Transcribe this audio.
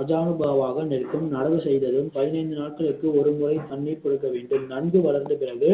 அதானுபாவாக நிற்கும் நடவு செய்யப்படும் பதினனிந்து நாட்களுக்கு ஒரு முறை தண்ணீர் கொடுக்க வேண்டும் நன்கு வளர்ந்த பிறகு